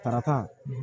Tarata